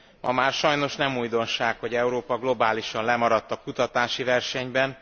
Ma már sajnos nem újdonság, hogy Európa globálisan lemaradt a kutatási versenyben.